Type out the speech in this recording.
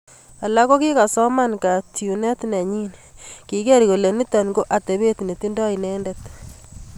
Atia kokikakosoman kaytunet nenyin, kiker kole nito ko atepet ne tindo inendet